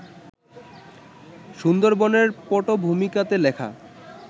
সুন্দরবনের পটভূমিকাতে লেখা